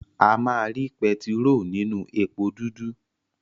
A má ri pẹtiró ninu èpo dudu.